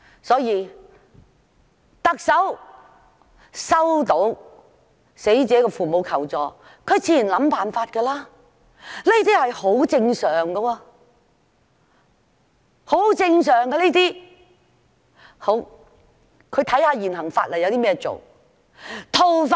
所以，當特首收到死者父母求助時，她自然便會想辦法，這是很正常的，她會看看依照現行法例可以怎樣做。